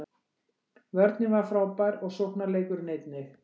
Vörnin var frábær og sóknarleikurinn einnig